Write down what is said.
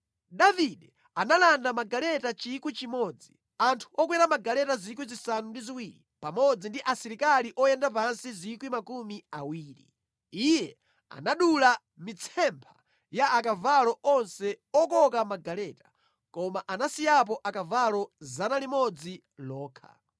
Davide analanda magaleta 1,000, anthu okwera magaleta 7,000 pamodzi ndi asilikali oyenda pansi 20,000. Iye anadula mitsempha ya akavalo onse okoka magaleta, koma anasiyapo akavalo 100 okha.